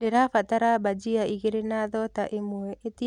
ndĩrabatara bhajia ĩgĩrĩ na thota ĩmwe ĩtĩa naĩhenya